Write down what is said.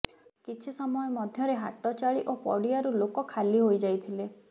କିଛି ସମୟ ମଧ୍ୟରେ ହାଟ ଚାଳି ଓ ପଡିଆରୁ ଲୋକ ଖାଲି ହୋଇଯାଇଥିଲେ